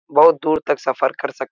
बहुत दूर तक सफ़र कर सक--